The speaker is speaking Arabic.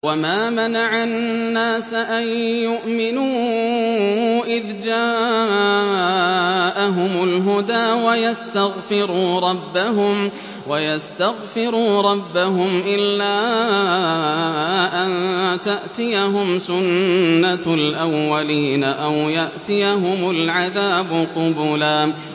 وَمَا مَنَعَ النَّاسَ أَن يُؤْمِنُوا إِذْ جَاءَهُمُ الْهُدَىٰ وَيَسْتَغْفِرُوا رَبَّهُمْ إِلَّا أَن تَأْتِيَهُمْ سُنَّةُ الْأَوَّلِينَ أَوْ يَأْتِيَهُمُ الْعَذَابُ قُبُلًا